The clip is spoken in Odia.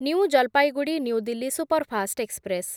new Jalpaiguri New Delhi superfast express